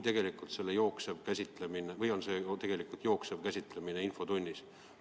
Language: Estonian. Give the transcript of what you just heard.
Tegu on vajadusega saada teada valitsuse liini ja selle üle arutelu pidada.